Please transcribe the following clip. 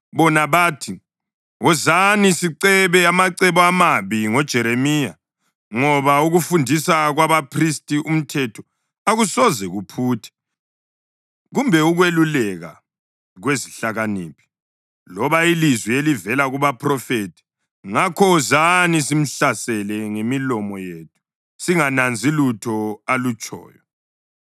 Bona bathi, “Wozani sicebe amacebo amabi ngoJeremiya; ngoba ukufundisa kwabaphristi umthetho akusoze kuphuthe, kumbe ukweluleka kwezihlakaniphi, loba ilizwi elivela kubaphrofethi. Ngakho wozani, simhlasele ngemilomo yethu singananzi lutho alutshoyo.”